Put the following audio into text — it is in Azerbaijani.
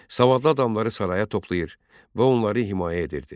Savadlı adamları saraya toplayır və onları himayə edirdi.